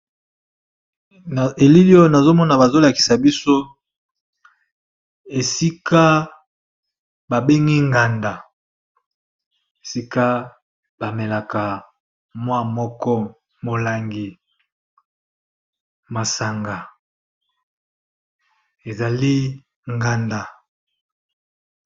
Na elili oyo nazo mona bazo lakisa biso esika ba bengi nganda, esika ba melaka mwa moko molangi masanga ezali nganda.